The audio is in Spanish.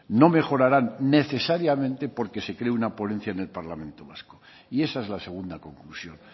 no mejorarán necesariamente porque se cree una ponencia en el parlamento vasco y esa es la segunda conclusión